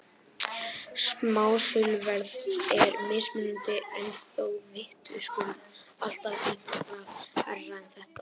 Smásöluverð er mismunandi en þó vitaskuld alltaf eitthvað hærra en þetta.